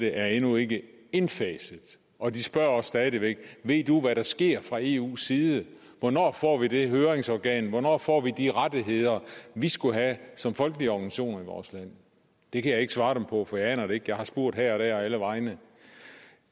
er endnu ikke indfaset og de spørger stadig væk ved du hvad der sker fra eus side hvornår får vi det høringsorgan hvornår får vi de rettigheder vi skulle have som folkelige organisationer i vores land det kan jeg ikke svare dem på for jeg aner det ikke jeg har spurgt her og der og alle vegne